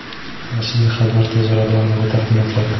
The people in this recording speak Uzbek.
Rasmiy xabar tez orada ommaga taqdim etiladi.